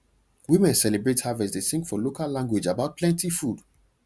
women celebrate harvest dey sing for local language about plenty food